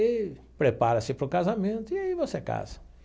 E prepara-se para o casamento, e aí você casa.